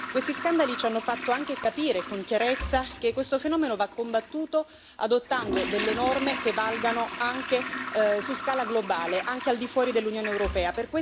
Questi scandali ci hanno fatto anche capire con chiarezza che questo fenomeno va combattuto adottando delle norme che valgano anche su scala globale, anche al di fuori dell'Unione europea.